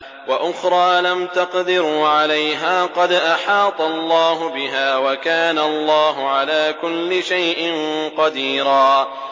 وَأُخْرَىٰ لَمْ تَقْدِرُوا عَلَيْهَا قَدْ أَحَاطَ اللَّهُ بِهَا ۚ وَكَانَ اللَّهُ عَلَىٰ كُلِّ شَيْءٍ قَدِيرًا